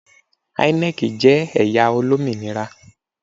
INEC jẹ ẹya olominira